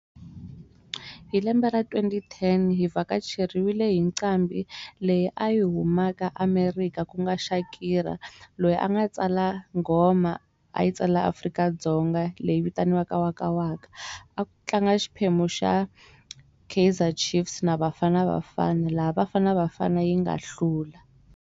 Hi lembe ra twenty ten hi vakacheriwile hi ncambi leyi a yi humaka america ku nga Shakira loyi a nga tsala nghoma a yi tsala Afrika-Dzonga leyi vitaniwaka wakawaka a ku tlanga xiphemu xa Kaizer Chiefs na Bafana Bafana laha Bafana Bafana yi nga hlula.